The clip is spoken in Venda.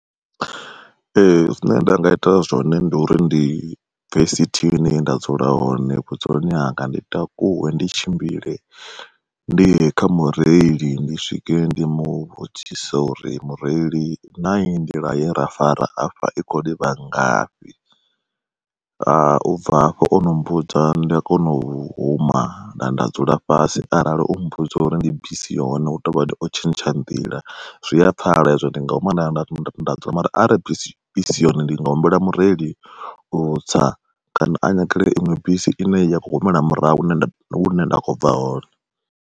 Ee zwine nda nga ita zwone ndi uri ndi bve within yenda dzula hone vhudzuloni hanga ndi takuwe ndi tshimbile, ndi ye kha mureili ndi swike ndi muvhudzise uri mureili na iyi nḓila ye ra fara afha i khou livha ngafhi. U bva hafho ono mmbudza nda kona u huma nda dzula fhasi arali o mmbudza uri ndi bisi yone hu tovhani o tshintsha nḓila, zwia pfala hezwo ndi nga huma nda ya nda thoma nda nda dzula mara arali bisi i si yone ndi nga humbela mureili u tsa kana a nyagele iṅwe bisi ine ya khou humela murahu hune nda kho bva hone.